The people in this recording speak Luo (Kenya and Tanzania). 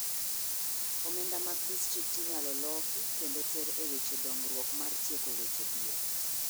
omenda mag distrikt inyalo loki kendo ter e weche dongruok mar tieko weche dhier.